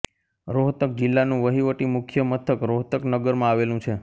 રોહતક જિલ્લાનું વહીવટી મુખ્ય મથક રોહતક નગરમાં આવેલું છે